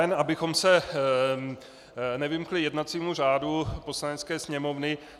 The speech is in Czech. Jen abychom se nevymkli jednacímu řádu Poslanecké sněmovny.